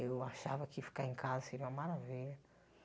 Eu achava que ficar em casa seria uma maravilha.